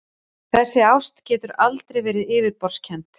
Þessi ást getur aldrei verið yfirborðskennd.